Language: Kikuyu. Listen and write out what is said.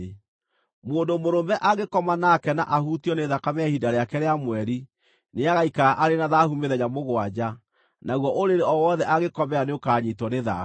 “ ‘Mũndũ mũrũme angĩkoma nake na ahutio nĩ thakame ya ihinda rĩake rĩa mweri, nĩagaikara arĩ na thaahu mĩthenya mũgwanja; naguo ũrĩrĩ o wothe angĩkomera nĩũkanyiitwo nĩ thaahu.